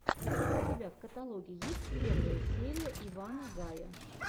у тебя в каталоге есть первая серия ивана гая